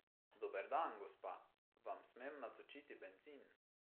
Dober dan, gospa, vam smem natočiti bencin?